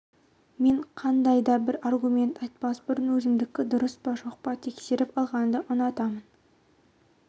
мен қандай да бір аргумент айтпас бұрын өзімдікі дұрыс па жоқ па тексеріп алғанды ұнатамын